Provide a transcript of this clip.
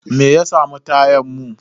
Me ya samu tayan mu?